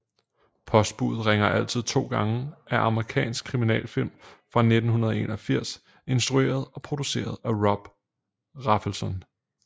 Postbudet ringer altid to gange er amerikansk kriminalfilm fra 1981 instrueret og produceret af Bob Rafelson